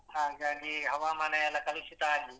ಹಾಗಾಗಿ ಹವಾಮಾನ ಎಲ್ಲ ಕಲುಷಿತ ಆಗಿ